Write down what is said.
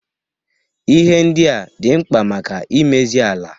Ihe ndia dị mkpa maka imezi ala.